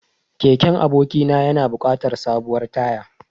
Keken abokina yana buƙatar sabuwar taya.